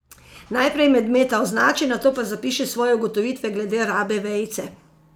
Najprej medmeta označi, nato pa zapiši svoje ugotovitve glede rabe vejice.